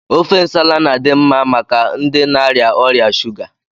Ofe nsala na-adị mma maka ndị na-arịa ọrịa shuga.